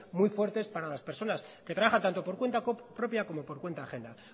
muy fuertes para las personas que trabajan tanto por cuenta propia como por cuenta ajena